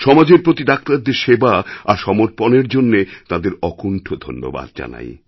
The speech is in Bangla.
সমাজের প্রতি ডাক্তারদের সেবা আর সমর্পণেরজন্যে তাঁদের অকুন্ঠ ধন্যবাদ জানাই